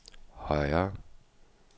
højre